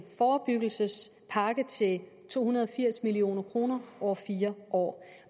forebyggelsespakke til to hundrede og firs million kroner over fire år